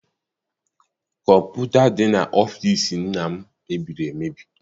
Kọmputa dị n'ọfịịsi nna m mebiri emebi.